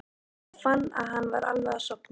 Hún fann að hann var alveg að sofna.